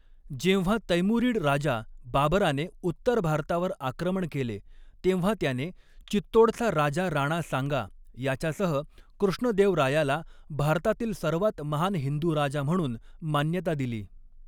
जेव्हा तैमुरीड राजा बाबराने उत्तर भारतावर आक्रमण केले, तेव्हा त्याने चित्तोडचा राजा राणा सांगा याच्यासह कृष्णदेवरायाला भारतातील सर्वात महान हिंदू राजा म्हणून मान्यता दिली.